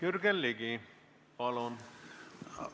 Jürgen Ligi, palun!